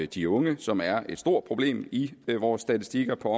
de unge som er et stort problem i vores statistikker på